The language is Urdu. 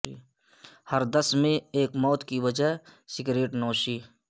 ہر دس میں ایک موت کی وجہ سگریٹ نوشی